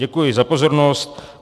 Děkuji za pozornost.